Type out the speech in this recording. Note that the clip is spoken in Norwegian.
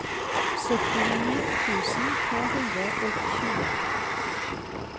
syttini tusen to hundre og tjue